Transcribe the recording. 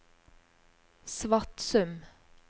Svatsum